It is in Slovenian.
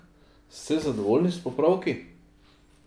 Ste zadovoljni s popravki?